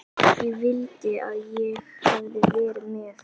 Ég vildi að ég hefði verið með